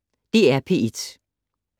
DR P1